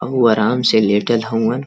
उ आराम से लेटल हउन।